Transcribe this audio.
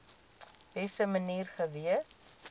beste manier gewees